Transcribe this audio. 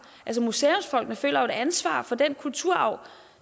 museumsfolkene føler et ansvar for den kulturarv